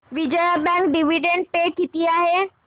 Vijaya bank dividend pay किती आहे